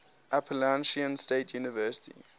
appalachian state university